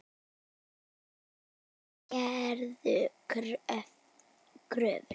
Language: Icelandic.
Þær gerðu kröfur.